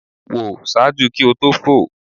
Wo ṣaaju ki o to fo